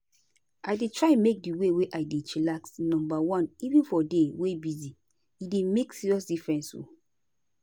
i dey try make di way i take dey chillax numba one even for day wey busy — e dey make serious difference o.